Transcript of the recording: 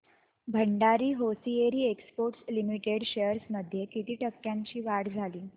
Bhandari hosiery exports limited shares मध्ये किती टक्क्यांची वाढ झाली